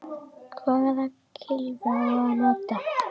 Hvaða kylfu á að nota?